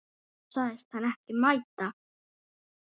Þá sagðist hann ekki mæta.